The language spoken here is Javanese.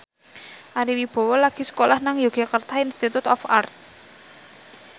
Ari Wibowo lagi sekolah nang Yogyakarta Institute of Art